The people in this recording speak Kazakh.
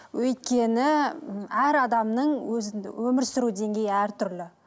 өйткені әр адамның өмір сүру деңгейі әртүрлі